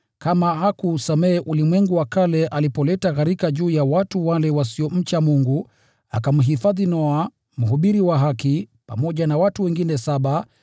kama hakuusamehe ulimwengu wa kale alipoleta gharika juu ya watu wale wasiomcha Mungu, bali akamhifadhi Noa, mhubiri wa haki, pamoja na watu wengine saba;